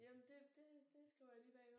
Jamen det det det skriver jeg lige bag øret